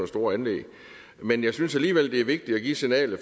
store anlæg men jeg synes alligevel det er vigtigt at give signalet